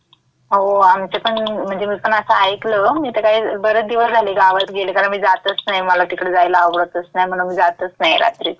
हो, आमच्यापण म्हणजे मी पण असं ऐकलं, मी तं काही बरेच दिवस झाले गावात गेले कारण मी जातच नाही, मला तिकडं जायला आवडतच नाही म्हणून मी जातच रात्रीची. गेले तरी दिवसाच जाते. अन्